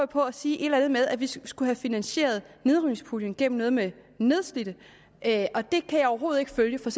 på at sige et eller andet med at vi skulle have finansieret nedrivningspuljen gennem noget med de nedslidte og det kan jeg overhovedet ikke følge for